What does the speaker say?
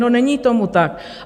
No, není tomu tak.